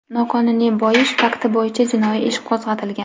noqonuniy boyish fakti bo‘yicha jinoiy ish qo‘zg‘atilgan.